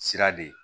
Sira de ye